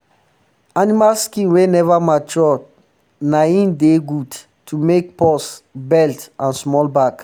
animal skin wey never mature na hin dey good um to make um purse belt and small bag